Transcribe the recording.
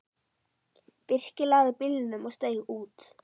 Birkir lagði bílnum og steig út.